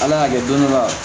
Ala y'a kɛ don dɔ la